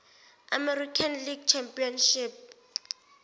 american league championship